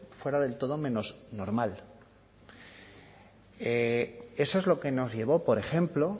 fuera del todo menos normal eso es lo que nos llevó por ejemplo